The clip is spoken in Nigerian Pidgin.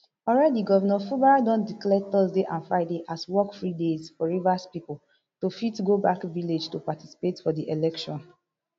already governor fubara don declare thurday and friday as work free days for rivers pipo to fit go back village to particapte for di elections